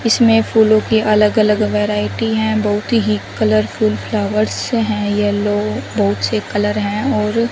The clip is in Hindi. इसमें फूलों के अलग अलग वैरायटी हैं बहुत ही कलरफुल फ्लॉवर्स हैं येलो बहुत से कलर हैं और--